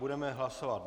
Budeme hlasovat.